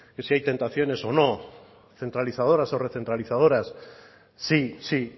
si hay tentaciones o no centralizadoras o recentralizadoras sí sí